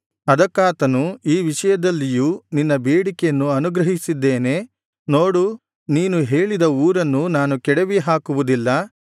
ಅದಕ್ಕಾತನು ಈ ವಿಷಯದಲ್ಲಿಯೂ ನಿನ್ನ ಬೇಡಿಕೆಯನ್ನು ಅನುಗ್ರಹಿಸಿದ್ದೇನೆ ನೋಡು ನೀನು ಹೇಳಿದ ಊರನ್ನು ನಾನು ಕೆಡವಿ ಹಾಕುವುದಿಲ್ಲ